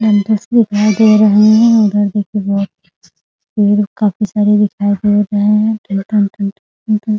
दिखाई दे रहे हैं उधर देखिए बहोत पेड़ काफी सारे दिखाई दे रहे हैं --